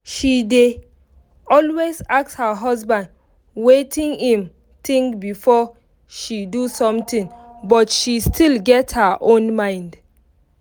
she dey always ask her husband wetin im think before she do something but she still get her own mind